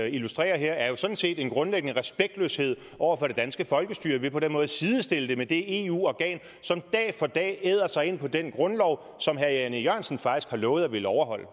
illustrerer her er jo sådan set en grundlæggende respektløshed over for det danske folkestyre ved på den måde sidestiller det med det eu organ som dag for dag æder sig ind på den grundlov som herre jan e jørgensen faktisk har lovet at ville overholde